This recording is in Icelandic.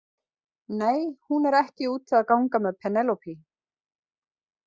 Nei, hún er ekki úti að gang með Penélope.